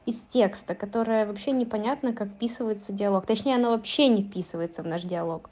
из текста которое вообще непонятно как вписывается диалог точнее оно вообще не вписывается в наш диалог